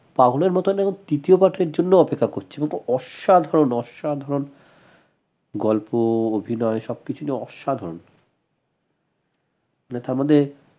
পাগলের মতন এখন তৃতীয় part এর জন্য অপেক্ষা করছে অসাধারন অসাধারন গল্প অভিনয় সবকিছুই অসাধারন না তারমানে